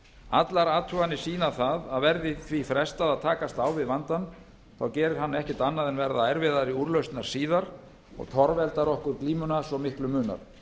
allar athuganir sýna það að verði því frestað að takast á við vandann þá gerir hann ekkert annað en að verða erfiðari úrlausnar síðar og torveldar okkur glímuna svo miklu munar